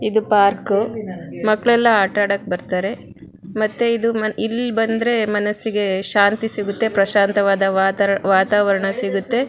ಇದು ಪಾರ್ಕ್ ಮಕ್ಕಳೆಲ್ಲ ಆಟ ಆಡೋಕೆ ಬರ್ತಾರೆ ಮತ್ತೆ ಇದು ಇಲ್ಲಿ ಬಂದ್ರೆ ಮನಸ್ಸಿಗೆ ಶಾಂತಿ ಸಿಗುತ್ತೆ ಪ್ರಶಾಂತವಾದ ವಾತಾವರಣ ಇಗುತ್ತೆ.